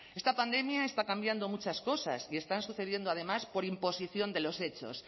esta pandemia está cambiando muchas cosas y están sucediendo además por imposición de los hechos